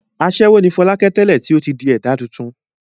Aṣẹ́wó ni Fọlákẹ́ tẹ́lẹ̀ tí ó ti di ẹ̀dá tuntun.